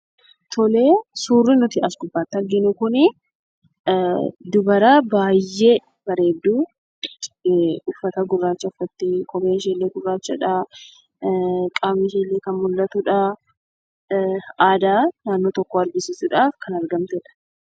Suurri nuti as gubbaatti arginu kunii, dubara baayyee bareedduu uffata gurraacha uffattee, kopheen ishee illee gurraachadha. Qaamni ishee illee kan mul'atudha. Aadaa naannoo tokkoo argisiisudhaaf kan argamtedha.